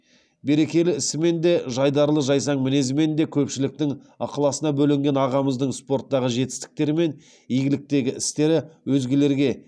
берекелі ісімен де жайдарлы жайсаң мінезімен де көпшіліктің ықыласына бөленген ағамыздың спорттағы жетістіктері мен игіліктегі істері өзгелерге